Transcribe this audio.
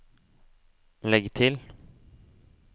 legg til